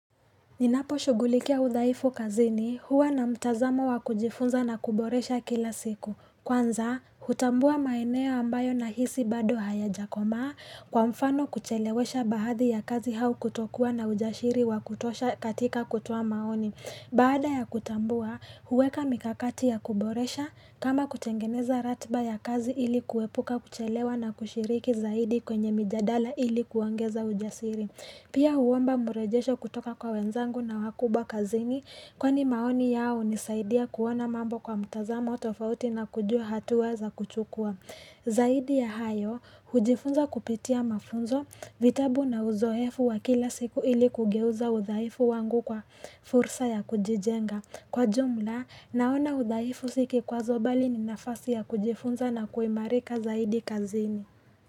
Ninapo shugulikia udhaifu kazini huwa na mtazamo wa kujifunza na kuboresha kila siku. Kwanza, hutambua maeneo ambayo na hisi bado haya jakoma kwa mfano kuchelewesha bahadhi ya kazi hau kutokuwa na ujashiri wa kutosha katika kutuwa maoni. Baada ya kutambua, huweka mikakati ya kuboresha kama kutengeneza ratiba ya kazi ili kuwepuka kuchelewa na kushiriki zaidi kwenye mijadala ili kuangeza ujasiri. Pia uwamba murejesho kutoka kwa wenzangu na wakubwa kazini kwa ni maoni yao nisaidia kuona mambo kwa mtazama tofauti na kujua hatu waza kuchukua. Zaidi ya hayo, hujifunza kupitia mafunzo, vitabu na uzohefu wa kila siku ili kugeuza uzaifu wangu kwa fursa ya kujijenga. Kwa jumla, naona udhaifu sikwazo bali ni nafasi ya kujifunza na kuimarika zaidi kazini.